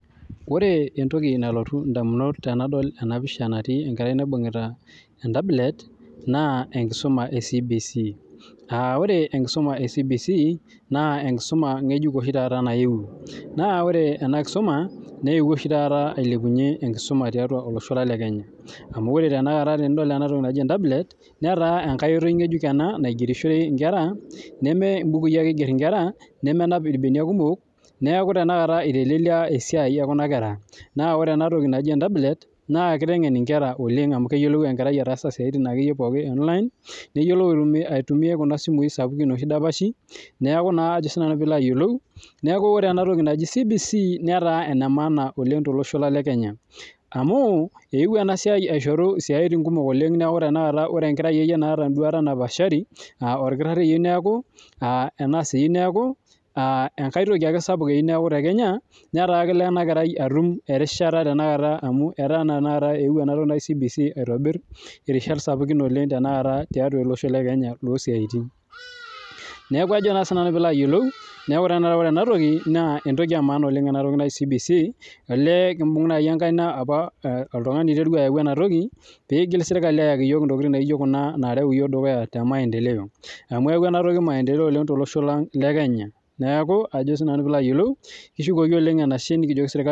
Ore entoki nalotu edamunot tenadol ena pisha natii enkerai naibungieta tablet naa enkisuma ee CBC ore enkisuma ee CBC naa enkisuma oshii taata ng'ejuk nayewuo naa ore ena kisuma newuo oshi taata ailepunye enkisuma tiatua olosho lang lee Kenya amu ore tanakata enatoki naaji tablet naa enkoitoi naigerishore Nkera neme bukui ake eiger enkera nemnay irbenia kumok naa ore enatoki naaji entabulet naa kitengen enkera oleng amu keyiolou ataasa esiatin pookin online neyiolou aitumia Kuna simui sapukin noshi dapashi neeku ore ena toki naaji CBC netaaa ene maana oleng tele osho lang le Kenya amu ewuo enasiai aishoru esiatin kumok neeku ore akeyie enkerai naata enduata napashari aa oldakitarii keyieu neeku enkoitoki ake sapuk eyieu neeku tekenya netaa kelo atum erishata amu etaa ewuo ena toki naaji CBC aitobir erishat sapukin tiatua ele Osho le Kenya neeku ore ena toki naa entoki ee maana oleng ena toki najii CBC olee enkibunga enkaina oltung'ani oiterua ayau enatoki pee egil sirkali ayaki iyiok ntokitin naijio Kuna narew iyiok dukuya tee maendeleo amu eyawua enatoki maendeleo tolosho lang lee Kenya neeku kishukoki enashe oleng nikijoki sirkali